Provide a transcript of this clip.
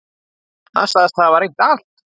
Hann segist hafa reynt allt.